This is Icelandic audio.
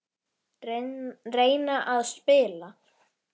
Reyna að spila!